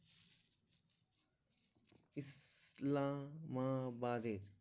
ইসলাম মা বাদে